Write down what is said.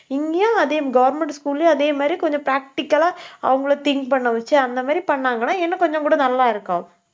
இங்கேயும் அதே government school லயும் அதே மாதிரி கொஞ்சம் practical ஆ அவங்களை think பண்ண வச்சு, அந்த மாதிரி பண்ணாங்கன்னா இன்னும் கொஞ்சம் கூட நல்லா இருக்கும்.